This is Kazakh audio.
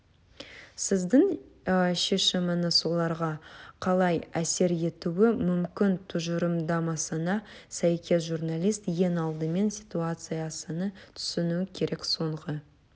сіздің шешіміңіз оларға қалай әсер етуі мүмкін тұжырымдамасына сәйкес журналист ең алдымен ситуацияны түсінуі керек соңғы